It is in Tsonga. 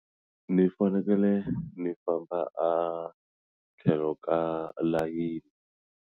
Ni fanekele ni famba a tlhelo ka layeni.